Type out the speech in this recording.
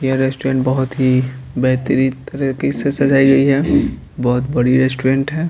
ये रेस्टोरेंट बहुत ही बेहतरीन तरीके से सजाई गई है बहुत बड़ी रेस्टोरेंट है।